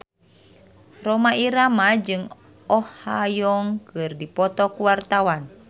Rhoma Irama jeung Oh Ha Young keur dipoto ku wartawan